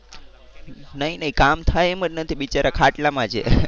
નહીં નહીં કામ થાય એમ જ નથી બિચારા ખાટલા માં છે.